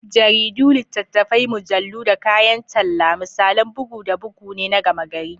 Jaridu, littattafai, mujallu, da kayan talla, misalan bugu da bugu ne na gama-gari.